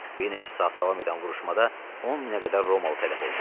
Bir neçə saat davam edən vuruşmada 10 minə qədər Romalı tələf oldu.